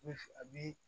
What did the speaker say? Bɛ a bɛ